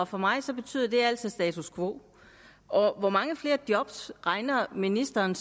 for mig betyder det altså status quo hvor mange flere job regner ministeren